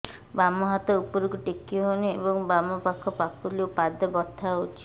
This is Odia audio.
ବାମ ହାତ ଉପରକୁ ଟେକି ହଉନି ଏବଂ ବାମ ପାଖ ପାପୁଲି ଓ ପାଦ ବଥା ହଉଚି